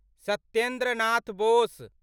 Satyendra Nath Bose